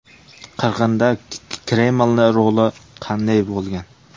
Qirg‘inda Kremlning roli qanday bo‘lgan?.